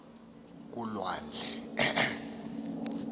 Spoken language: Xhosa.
kulwandle